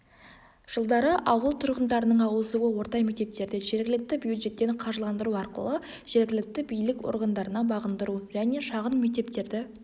жылдары ауыл тұрғындарының ауысуы орта мектептерді жергілікті бюджеттен қаржыландыру арқылы жергілікті билік органдарына бағындыру және шағын мектептерді